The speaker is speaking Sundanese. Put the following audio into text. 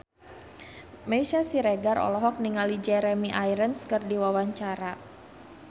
Meisya Siregar olohok ningali Jeremy Irons keur diwawancara